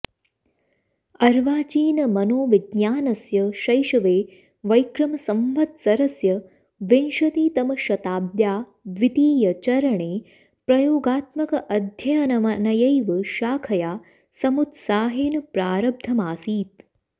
अर्वाचीनमनोविज्ञानस्य शैशवे वैक्रमसंवत्सरस्य विंशतितमशताब्द्या द्वितीयचरणे प्रयोगात्मकमध्ययनमनयैव शाखया समुत्साहेन प्रारब्धमासीत्